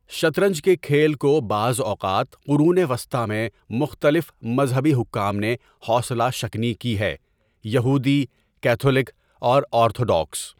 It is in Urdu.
شطرنج کے کھیل کو بعض اوقات قرون وسطی میں مختلف مذہبی حکام نے حوصلہ شکنی کی ہے یہودی، کیتھولک اور آرتھوڈوکس.